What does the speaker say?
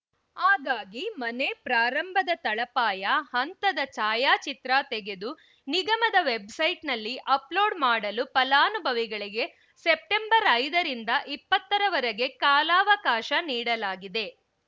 ಹಾಗಾಗಿ ಮನೆ ಪ್ರಾರಂಭದ ತಳಪಾಯ ಹಂತದ ಛಾಯಾಚಿತ್ರ ತೆಗೆದು ನಿಗಮದ ವೆಬ್‌ಸೈಟ್‌ನಲ್ಲಿ ಅಪ್ಲೋಡ್‌ ಮಾಡಲು ಫಲಾನುಭವಿಗಳಿಗೆ ಸೆಪ್ಟೆಂಬರ್ ಐದರಿಂದ ಇಪ್ಪತ್ತರ ವರೆಗೆ ಕಾಲಾವಕಾಶ ನೀಡಲಾಗಿದೆ